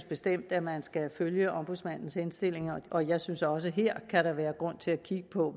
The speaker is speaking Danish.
bestemt at man skal følge ombudsmandens henstillinger og jeg synes også at der her kan være grund til at kigge på